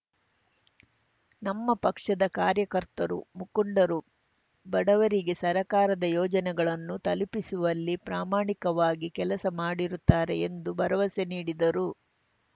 ನಮ್ಮ ಪಕ್ಷದ ಕಾರ್ಯಕರ್ತರು ಮುಖಂಡರು ಬಡವರಿಗೆ ಸರಕಾರದ ಯೋಜನೆಗಳನ್ನು ತಲುಪಿಸುವಲ್ಲಿ ಪ್ರಾಮಾಣಿಕವಾಗಿ ಕೆಲಸ ಮಾಡುತ್ತಾರೆ ಎಂದು ಭರವಸೆ ನೀಡಿದರು